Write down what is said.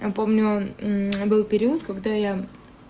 помню был период когда я